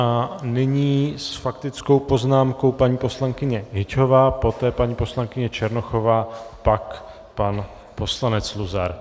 A nyní s faktickou poznámkou paní poslankyně Hyťhová, poté paní poslankyně Černochová, pak pan poslanec Luzar.